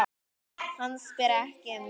Hann spyr ekki um neitt.